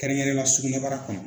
Kɛrɛnkɛrɛn na sugunɛbara kɔnɔ